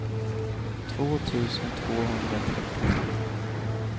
två tusen tvåhundratrettiotre